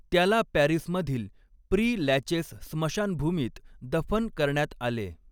त्याला पॅरिसमधील Pere Lachaise स्मशानभूमीत दफन करण्यात आले.